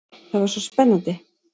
Það var svo spennandi.